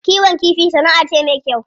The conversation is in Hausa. Kiwon kifi sana'a ce me kyau.